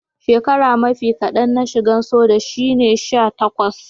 shekaran mafi kadan na shigan soja shine sha takwas.